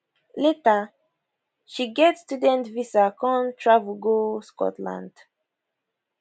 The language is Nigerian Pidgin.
later she get student visa come travel go scotland